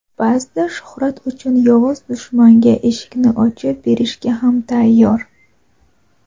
ba’zida shuhrat uchun yovuz dushmanga eshikni ochib berishga ham tayyor.